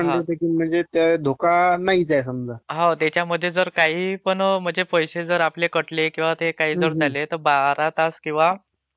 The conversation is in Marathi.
हो त्याच्यामध्ये जर काही पण म्हणजे पैसे जर आपले कटले किंवा काही जर झाले तर बारा तास किंवा अठ्ठेचाळीस तासाच्या नंतर ते परत येऊन...